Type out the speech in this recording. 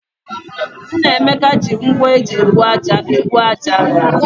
Nnameka ji ngwá eji ebu ájá ebu ájá.